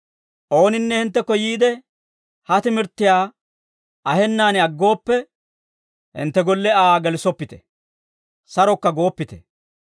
Ooninne hinttekko yiide, ha timirttiyaa ahennaan aggooppe, hintte golle Aa gelissoppite; sarokka gooppite.